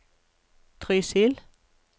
Trysil